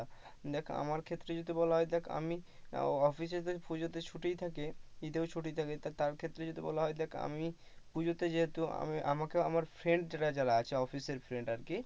দেখ আমার ক্ষেত্রে যদি বলা হয় দেখ আমি অফিসে তো সেই পূজাতে ছুটিই থাকে ঈদেও ছুটি থাকে তার ক্ষেত্রে যদি বলা হয়, দেখ আমি পুজোতে যেহেতু আমাকে আমাকে আমার ফ্রেন্ডরা যারা আছে অফিসের ফ্রেন্ডরা আর কি,